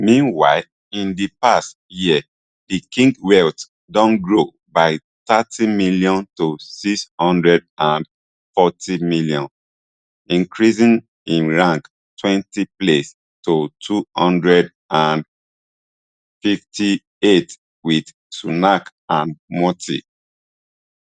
meanwhile in di past year di king wealth don grow by thirtym to six hundred and fortym increasing im rank twenty places to two hundred and fifty-eight with sunak and murty